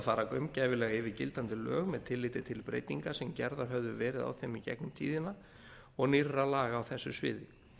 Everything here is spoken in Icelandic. fara gaumgæfilega yfir gildandi lög með tilliti til breytinga sem gerðar höfðu verið á þeim í gegnum tíðina og nýrra laga á þessu sviði